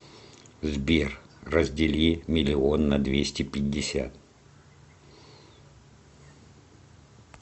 сбер раздели миллион на двести пятьдесят